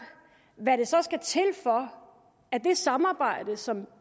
hvad der så skal til for at det samarbejde som